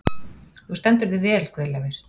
Þú stendur þig vel, Guðleifur!